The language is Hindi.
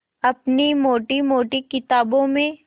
अपनी मोटी मोटी किताबों में